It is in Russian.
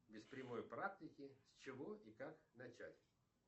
без прямой практики с чего и как начать